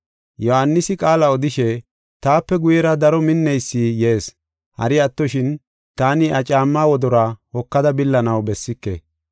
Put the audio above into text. Yohaanisi qaala odishe, “Taape guyera daro minneysi yees. Hari attoshin, taani iya caammaa wodoruwa hokada billanaw bessike.